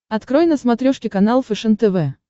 открой на смотрешке канал фэшен тв